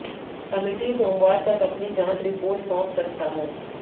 committee सोमवार तक अपनी जांच रिपोर्ट सौंप सकता है